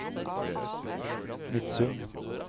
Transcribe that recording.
Midsund